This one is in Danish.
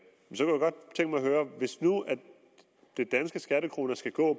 høre hvis nu de danske skattekroner skal gå